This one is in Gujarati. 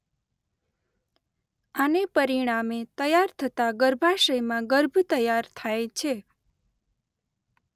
આને પરિણામે તૈયાર થતાં ગર્ભાશયમાં ગર્ભ તૈયાર થાય છે.